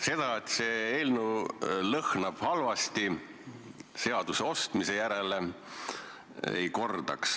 Seda, et see eelnõu lõhnab halvasti, seaduse ostmise järele, ma ei kordaks.